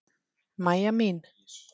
Mæja mín.